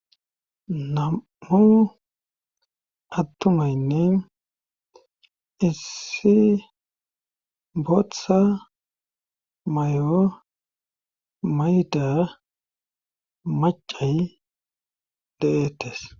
nam'u attumaynne issi boththa mayo mayda macay de'ettes